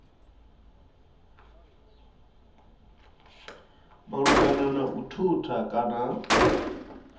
malugana na u thutha kana